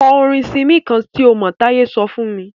Kọ orin Simí kán tí o mọ̀! Táye sọ fún mí.